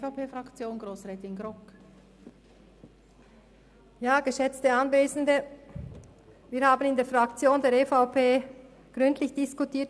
Wir haben diesen Vorstoss in der EVP-Fraktion gründlich diskutiert.